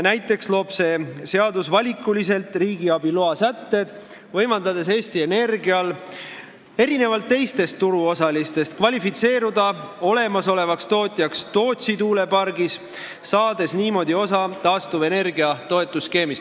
Näiteks on selles eelnõus valikulised riigiabiloa sätted, mis võimaldavad Eesti Energial erinevalt teistest turuosalistest kvalifitseeruda olemasolevaks tootjaks Tootsi tuulepargis ja saada niimoodi võimaluse kasutada taastuvenergia toetuse skeemi.